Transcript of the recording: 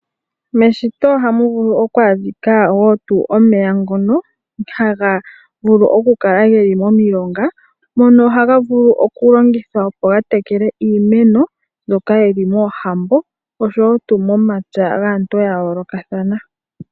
Meshito ohamu vulu okuadhika omeya ngono haga vulu okukala geli momilonga mono haga vulu oku longithwa opo ga tekele iimeno mbyoka yili moohambo nomomatsa gaantu ya yoolokathana.